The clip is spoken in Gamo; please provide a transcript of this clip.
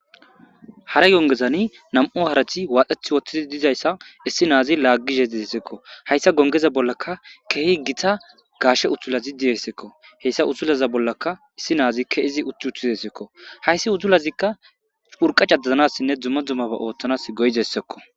Hara yongezani nam7u harati waaxheth woththidi dizayssa issi naazi laaggishe diessekko hayssa gongeza bollaka keehi gita gaashe uthula zidiyeyssekko heyssa utulaza bollaka issi naazikka izi uti uttizessekko hayssi utulazikka hurqacadazanassinne dzumma dzummaba ooththanas goyzessekko.